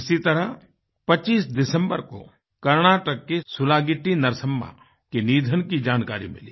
इसी तरह 25 दिसम्बर को कर्नाटक की सुलागिट्टी नरसम्मा के निधन की जानकारी मिली